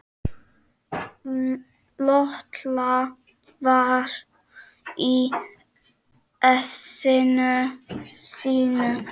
Lolla var í essinu sínu.